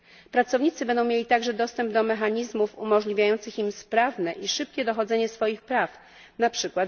Pracownicy będą mieli także dostęp do mechanizmów umożliwiających im sprawne i szybkie dochodzenie swoich praw, np.